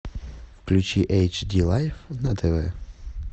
включи эйчди лайф на тв